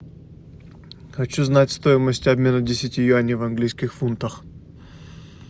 хочу знать стоимость обмена десяти юаней в английских фунтах